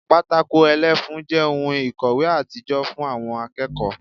Pátákó ẹlẹ́fun jẹ́ ohun ìkòwé àtijọ́ fún àwọn akẹ́kọ̀ọ́